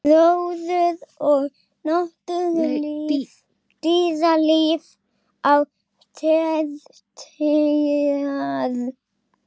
Gróður og dýralíf á tertíer